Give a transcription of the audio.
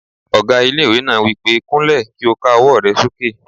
Ọgá ilé-ìwé náà wí pé "kúnlẹ̀ kí o ká ọwọ́ rẹ sókè